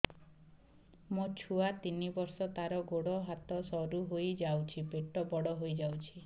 ମୋ ଛୁଆ ତିନି ବର୍ଷ ତାର ଗୋଡ ହାତ ସରୁ ହୋଇଯାଉଛି ପେଟ ବଡ ହୋଇ ଯାଉଛି